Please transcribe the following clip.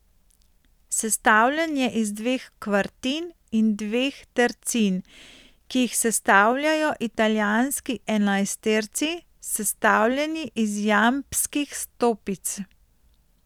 Sestavljen je iz dveh kvartin in dveh tercin, ki jih sestavljajo italijanski enajsterci, sestavljeni iz jambskih stopic.